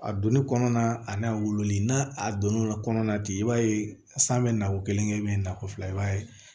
A donni kɔnɔna na a na wololi n'a a donn'o la kɔnɔna di i b'a ye san bɛ nako kelen kɛ nako fila i b'a ye